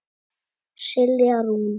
Silja Rún.